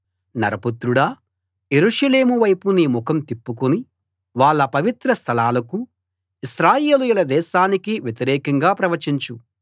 నరపుత్రుడా యెరూషలేము వైపు నీ ముఖం తిప్పుకుని వాళ్ళ పవిత్రస్థలాలకూ ఇశ్రాయేలీయుల దేశానికీ వ్యతిరేకంగా ప్రవచించు